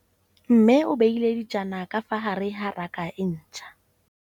Mmê o beile dijana ka fa gare ga raka e ntšha.